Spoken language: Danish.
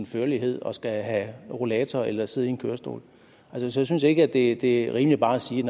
førlighed og skal have rollator eller sidde i kørestol så jeg synes ikke ikke det er rimeligt bare at sige